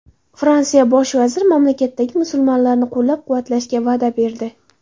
Fransiya bosh vaziri mamlakatdagi musulmonlarni qo‘llab-quvvatlashga va’da berdi.